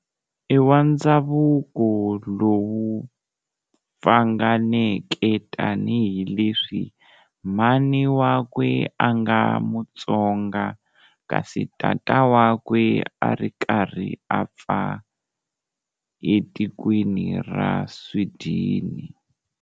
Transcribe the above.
I wa ndhzavuko lowu pfanganeke tani hileswi mhani wakwe anga mutsonga kasi tata wakwe a ri karhi apfa etikweni ra Swidini.